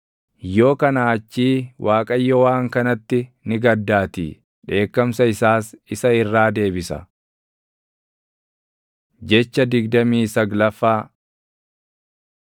yoo kanaa achii Waaqayyo waan kanatti ni gaddaatii; dheekkamsa isaas isa irraa deebisa. Jecha digdamii saglaffaa